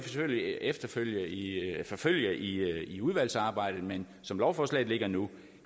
selvfølgelig forfølge i udvalgsarbejdet men som lovforslaget ligger nu